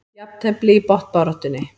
Jafntefli í botnbaráttunni